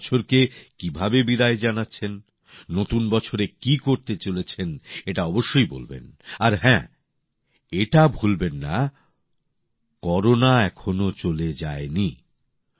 আপনারা এই বছরকে কিভাবে বিদায় জানাচ্ছেন নতুন বছরে কী করতে চলেছেন এটা অবশ্যই বলবেন আর হ্যাঁ এটা কখনো ভুলবেন না করোনা এখনো চলে যায়নি